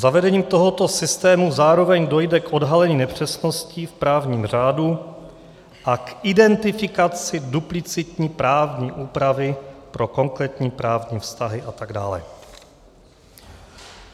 Zavedením tohoto systému zároveň dojde k odhalení nepřesností v právním řádu a k identifikaci duplicitní právní úpravy pro konkrétní právní vztahy atd.